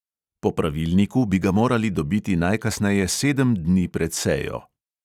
Po pravilniku bi ga morali dobiti najkasneje sedem dni pred sejo.